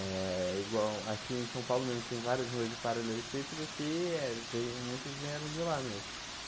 É, igual aqui em São Paulo mesmo, tem várias ruas de Paralelepípedo que é, veio muitos vieram de lá mesmo.